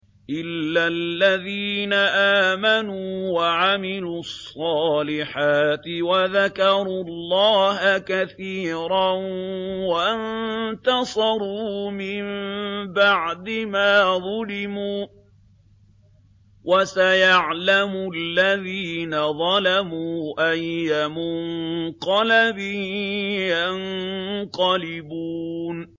إِلَّا الَّذِينَ آمَنُوا وَعَمِلُوا الصَّالِحَاتِ وَذَكَرُوا اللَّهَ كَثِيرًا وَانتَصَرُوا مِن بَعْدِ مَا ظُلِمُوا ۗ وَسَيَعْلَمُ الَّذِينَ ظَلَمُوا أَيَّ مُنقَلَبٍ يَنقَلِبُونَ